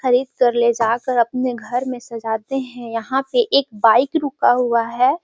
खरीद कर ले जाकर अपने घर में सजाते हैं। यहाँ पे एक बाइक रूका हुआ है।